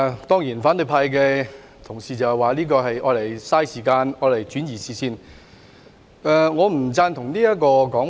當然反對派的同事指，這項議案是浪費時間，轉移視線，但我不贊同這說法。